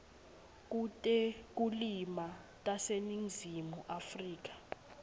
kutekulima taseningizimu afrika